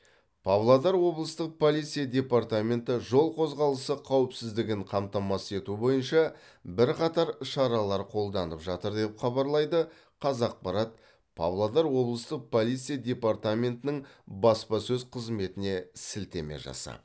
павлодар облыстық полиция департаменті жол қозғалысы қауіпсіздігін қамтамасыз ету бойынша бірқатар шаралар қолданып жатыр деп хабарлайды қазақпарат павлодар облыстық полиция департаментінің баспасөз қызметіне сілтеме жасап